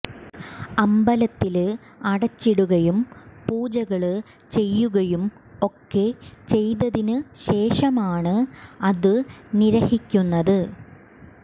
അമ്പലത്തില് അടച്ചിടുകയും പൂജകള് ചെയ്യുകയും ഒക്കെ ചെയ്തതിനു ശേഷമാണ് അതു നിര്വഹിക്കുന്നത്